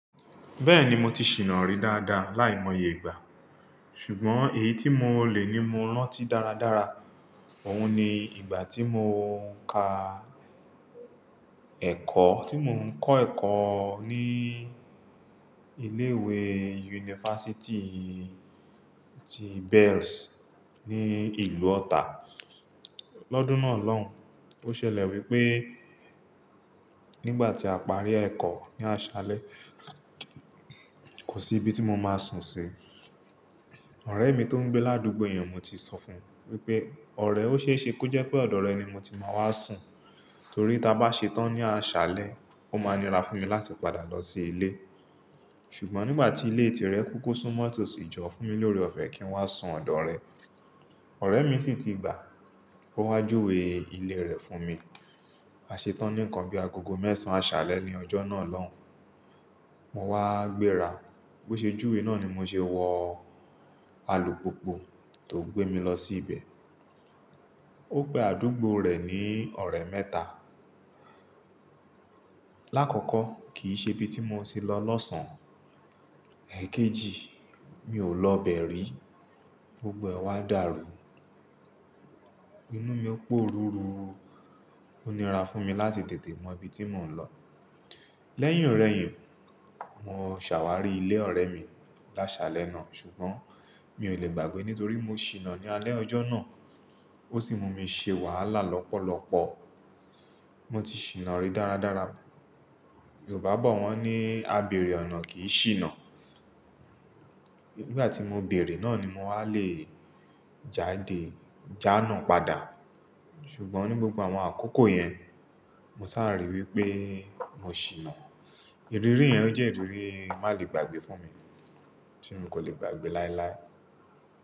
Bẹ́ẹ̀ni mo ti ṣìná ri dáadáa láìmọye ìgbà, ṣùgbọ́n èyí tí mo lè ní mo rántí dáradára, òun ni ìgbà tí mo ń ka ẹ̀kọ́, tí mo ń kọ́ ẹ̀kọ́ ní ilé ìwé yunifásítì ti Bells ní ìlú ọ̀tà. L'ọ́dún náà lọ́hùn, ó ṣẹlẹ̀ wípé nígbà tí a parí ẹ̀kọ́ ní aṣálẹ́ kò sí ibi tí mo máa sùn sí. Ọ̀rẹ́ mi tó ń gbé ládùúgbò yen mo ti sọ fún un wípé ọ̀rẹ́, ó ṣe é ṣe kó jẹ́ pé ọ̀dọ̀ rẹ ni mo ti máa wá sùn, torí tí a bá ṣetán ní aṣálẹ́, ó máa nira fún mi láti padà lọ sí ilé. Ṣùgbọ́n nígbà tí ilé tìrẹ kúkú súnmọ́ tó sì jọ fún mi lórí ọ̀fẹ́ kí n wá sùn ọ̀dọ̀ rẹ. Ọ̀rẹ́ mi sì ti gbà á, ó wá júwe ilé rẹ̀ fún mi. A ṣetán ní nǹkan bí agogo mẹ́sàn-án aṣálẹ́ ní ọjọ́ náà lọ́hùn. Mo wá gbéra bó ṣe júwe náà ni mo ṣe wọ alùpùpù tó gbé mi lọ sí ibẹ̀. Ó pe àdúgbò rẹ̀ ní ọ̀rẹ́ mẹ́ta. Láàkọ́kọ́ kì í ṣe ibi tí mo ti lọ lọ́sàn-án, èkejì mi ò lọ bẹ̀rí, gbogbo ẹ wá dàrú. Inú mi ó pòrúru, ó nira fún mi láti tètè mọ ibi tí mò ń lọ. Lẹ́yìn ọ̀rẹ yìn mo ṣàwárí ilé ọ̀rẹ́ mi lásálẹ́ náà, ṣùgbọ́n mi ò lè gbàgbé nítorí mo ṣìná ní alẹ́ ọjọ́ náà. Ó sì mú mi ṣe wàhálà lọ́pọ̀lọ́pọ̀. Mo ti ṣìná ri dáradára. Yorùbá bọ̀ wọ́n ní "A bèrè ọ̀nà kì í ṣìná." Nígbà tí mo bèrè náà ni mo wá le jáde, jánà padà. Ṣùgbọ́n ní gbogbo àwọn àkókò yẹn, mo sáà ríi wípé mo ṣìná. Ìrírí yẹn jẹ́ ìrírí má lè gbàgbé fún mi, tí mo kò lè gbàgbé láíláí.